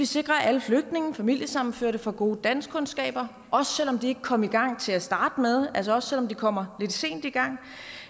sikre at alle flygtninge og familiesammenførte får gode danskkundskaber også selv om de ikke kom i gang til at starte med altså også selv om de kommer lidt sent i gang